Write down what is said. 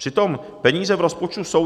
Přitom peníze v rozpočtu jsou.